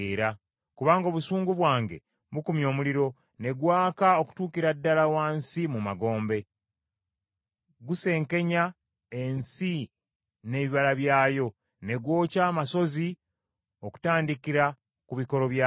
Kubanga obusungu bwange bukumye omuliro, ne gwaka okutuukira ddala wansi mu magombe, gusenkenya ensi n’ebibala byayo, ne gwokya amasozi okutandikira ku bikolo byago.